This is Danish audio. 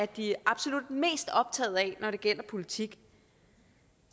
de er absolut mest optaget af når det gælder politik